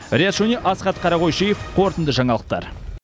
риат шони асхат қарақойшиев қорытынды жаңалықтар